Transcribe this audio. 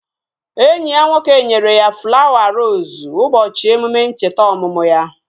Enyi ya nwoke nyere ya flawa roosu ụbọchị emume ncheta ọmụmụ ya